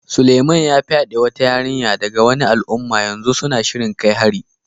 Suleiman ya fyade wata yarinya daga wani al'umma, yanzu suna shirin kai hari.